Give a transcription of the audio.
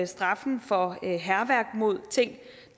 straffen for hærværk mod ting